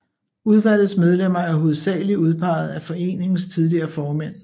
Udvalgets medlemmer er hovedsagelig udpeget af foreningens tidligere formænd